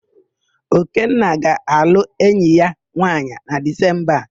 Okenna ga-alụ enyi ya nwaanyị na Dizemba a.